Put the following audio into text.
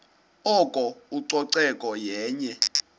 oko ucoceko yenye